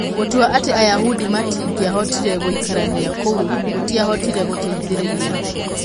Gũtua atĩ Ayahudi matingĩahotire gũikarania kũu gũtiahotire gũteithĩrĩria.